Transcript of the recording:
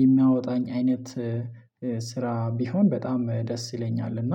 የሚያወጣኝ አይነት ስራ ቢሆን በጣም ደስ ይለኛል። እና